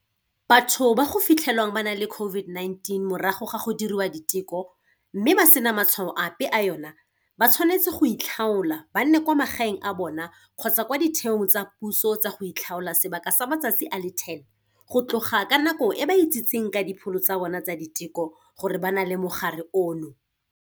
Batho ba go fitlhelwang ba na le COVID-19 morago ga go diriwa diteko, mme ba sena matshwao ape a yona, ba tshwanetse goitlhaola ba nne kwa magaeng a bona kgotsa kwa ditheong tsa puso tsa go itlhaola sebaka sa matsatsi a le 10, go tloga ka nako e ba itsitseng ka dipholo tsa bona tsa diteko gore ba na le mogare ono.